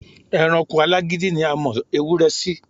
E̩ranko alágídí ni a mo̩ ewúré̩ sí.